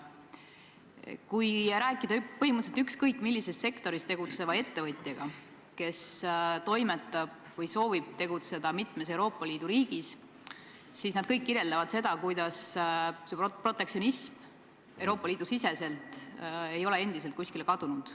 Kui rääkida põhimõtteliselt ükskõik millises sektoris tegutseva ettevõtjaga, kes toimetab või soovib tegutseda mitmes Euroopa Liidu riigis, siis nad kõik kirjeldavad, kuidas protektsionism Euroopa Liidu sees ei ole endiselt kuskile kadunud.